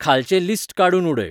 खालचें list काडूून उडय